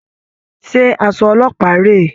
Ṣé aṣọ ọlọ́pàá rèé?